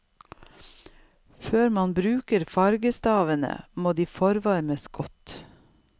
Før man bruker fargestavene, må de forvarmes godt.